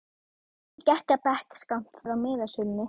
Emil gekk að bekk skammt frá miðasölunni.